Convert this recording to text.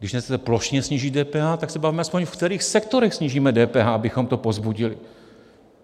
Když nechcete plošně snížit DPH, tak se bavme aspoň, ve kterých sektorech snížíme DPH, abychom to povzbudili.